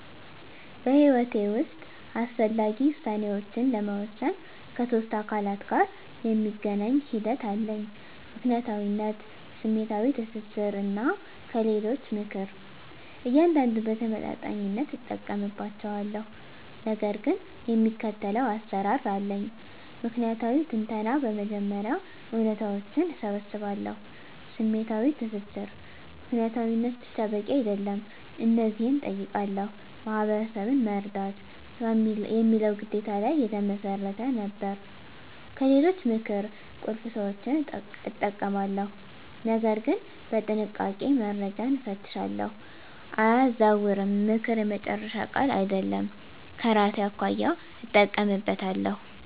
በሕይወቴ ውስጥ አስፈላጊ ውሳኔዎችን ለመወሰን ከሶስት አካላት ጋር የሚገናኝ ሂደት አለኝ፦ ምክንያታዊነት፣ ስሜታዊ ትስስር፣ እና ከሌሎች ምክር። እያንዳንዱን በተመጣጣኝነት እጠቀምባቸዋለሁ፣ ነገር ግን የሚከተለው አሰራር አለኝ። ምክንያታዊ ትንተና በመጀመሪያ እውነታዎችን እሰባስባለሁ። #ስሜታዊ ትስስር ምክንያታዊነት ብቻ በቂ አይደለም። እነዚህን እጠይቃለሁ፦ "ማህበረሰብን መርዳት" የሚለው ግዴታ ላይ የተመሰረተ ነበር። #ከሌሎች ምክር ቁልፍ ሰዎችን እጠቀማለሁ፣ ነገር ግን በጥንቃቄ፦ - መረጃን እፈትሻለሁ፣ አያዛውርም፦ ምክር የመጨረሻ ቃል አይደለም፤ ከራሴ አኳያ እጠቀምበታለሁ።